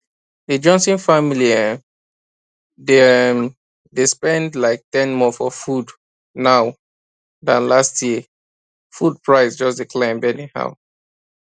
the johnson family um dey um spend like ten more for food now than last year food price just dey climb anyhow